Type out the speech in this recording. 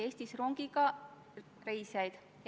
Teile on ka küsimusi.